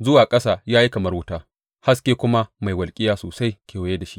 zuwa ƙasa ya yi kamar wuta; haske kuma mai walƙiya sosai kewaye da shi.